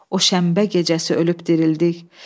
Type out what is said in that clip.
O şənbə gecəsi ölüb dirildik.